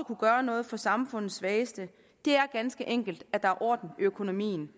kunne gøre noget for samfundets svageste er ganske enkelt at der er orden i økonomien